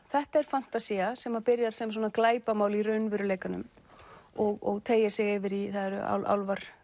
þetta er fantasía sem byrjar sem glæpamál í raunveruleikanum og teygir sig yfir í að það eru álfar